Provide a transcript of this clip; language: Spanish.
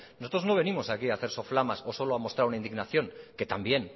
nosotros no venimos aquí a hacer soflamas o solo a mostrar una indignación que también